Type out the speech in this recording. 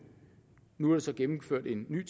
nu er der så gennemført en ny